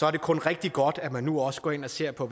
er det kun rigtig godt at man nu også går ind og ser på